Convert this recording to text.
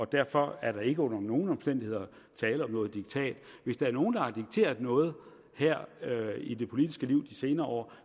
derfor er der ikke under nogen omstændigheder tale om noget diktat hvis der er nogen der har dikteret noget her i det politiske liv de senere år